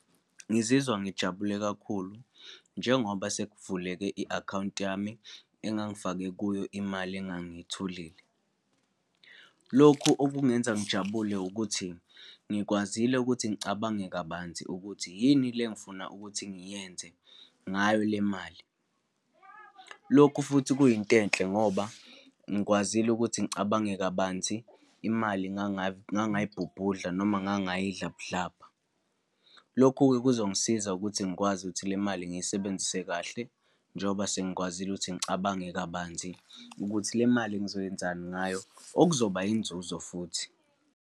Ngizizwa ngijabule kakhulu njengoba sekuvuleke i-akhawunti yami engangifake kuyo imali engangiyitholile. Lokhu okungenza ngijabule ukuthi, ngikwazile ukuthi ngicabange kabanzi ukuthi yini le engifuna ukuthi ngiyenze ngayo le mali. Lokhu futhi kuyinto enhle ngoba, ngikwazile ukuthi ngicabange kabanzi, imali ngangayibhubhudla, noma ngayidla budlabha. Lokhu-ke kuzongisiza ukuthi ngikwazi ukuthi le mali ngiyisebenzise kahle, njengoba sengikwazile ukuthi ngicabange kabanzi ukuthi le mali ngizoyenzani ngayo, okuzoba inzuzo futhi.